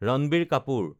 Ranbir Kapoor